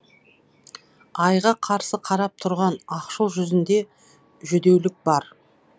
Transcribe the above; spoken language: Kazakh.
айға қарсы қарап тұрған ақшыл жүзінде жүдеулік бар